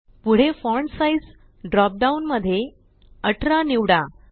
पुढे font size drop down मध्ये 18 निवडा